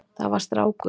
Það var strákur.